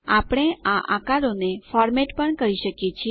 આપણે આ આકારોને ફોર્મેટ પણ કરી શકીએ છીએ